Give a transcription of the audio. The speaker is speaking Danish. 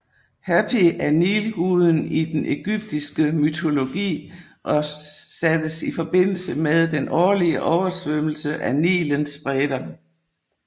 Hapi er nilguden i den egyptiske mytologi og sattes i forbindelse med den årlige oversvømmelse af Nilens bredder